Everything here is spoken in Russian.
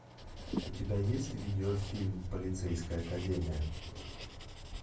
у тебя есть видеофильм полицейская академия